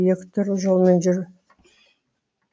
екі түрлі жолымен жүр